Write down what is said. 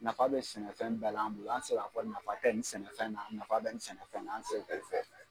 Nafa bɛ sɛnɛfɛn bɛɛ la an bolo an tɛ ka fɔ nafa tɛ nin sɛnɛfɛn na nafa bɛ nin sɛnɛfɛn na an tɛ se k'o fɔ.